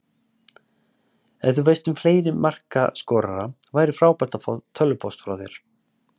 Ef þú veist um fleiri markaskorara væri frábært að fá tölvupóst frá þér.